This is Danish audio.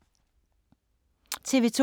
TV 2